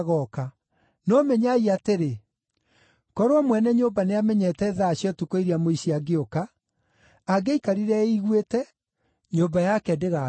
No menyai atĩrĩ, korwo mwene nyũmba nĩamenyete thaa cia ũtukũ iria mũici angĩũka, angĩaikarire eiguĩte, nyũmba yake ĩtuuo.